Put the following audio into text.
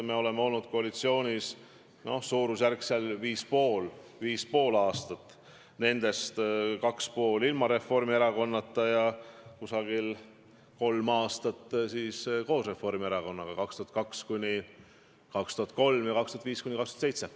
Me oleme olnud koalitsioonis viis ja pool aastat, nendest kaks ja pool ilma Reformierakonnata ja umbes kolm aastat koos Reformierakonnaga: 2002–2003 ja 2005–2007.